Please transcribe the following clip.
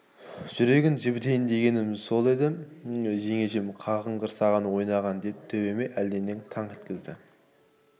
жүрегін жібітейін дегенім еді сол екен жеңешем қағынғыр саған ойнаған деп төбеме әлденемен таңқ еткізді